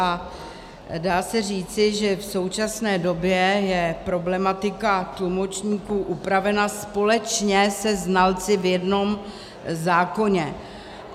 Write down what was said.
A dá se říci, že v současné době je problematika tlumočníků upravena společně se znalci v jednom zákoně.